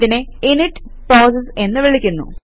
ഇതിനെ init process എന്ന് വിളിക്കുന്നു